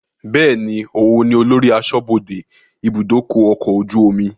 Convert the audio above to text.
Bẹ́ẹ̀ni, òun ni olórí aṣọ́bodè ibùdókọ̀ ọkọ̀ ojú omi